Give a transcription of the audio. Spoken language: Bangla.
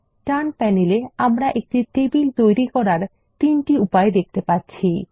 ডান প্যানেলে আমরা একটি টেবিল তৈরি করার তিনটি উপায় দেখতে পাচ্ছি